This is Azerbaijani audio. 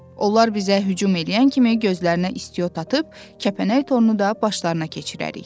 Onlar bizə hücum eləyən kimi gözlərinə istiot atıb, kəpənək torunu da başlarına keçirərik.